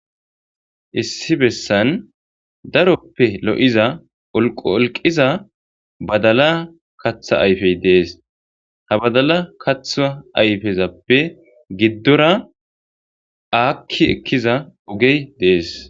Issi bessan daroppe lo7iza olqo olqiza badala katha ayfey dees ha badala katha ayfezappe giddora aakki ekkiza ogey dees.